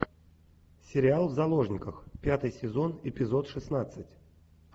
сериал в заложниках пятый сезон эпизод шестнадцать